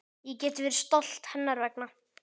Ég get verið stolt hennar vegna.